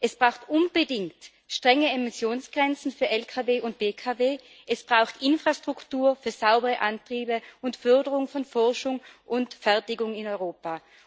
Es braucht unbedingt strenge Emissionsgrenzen für Lkw und Pkw, Infrastruktur für saubere Antriebe und Förderung von Forschung und Fertigung in Europa.